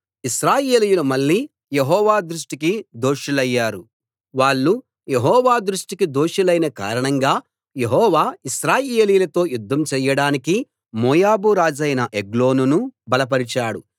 ఇశ్రాయేలీయులు మళ్ళీ యెహోవా దృష్టికి దోషులయ్యారు వాళ్ళు యెహోవా దృష్టికి దోషులైన కారణంగా యెహోవా ఇశ్రాయేలీయులతో యుద్ధం చెయ్యడానికి మోయాబు రాజైన ఎగ్లోనును బలపరిచాడు